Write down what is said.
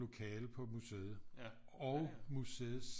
Lokale på museet og museets